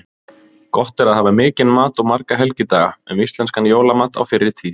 Gott er að hafa mikinn mat og marga helgidaga: Um íslenskan jólamat á fyrri tíð.